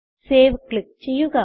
save click ചെയ്യുക